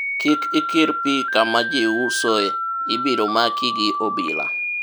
kik ikir pi kama ji usoe ibiro maki gi obila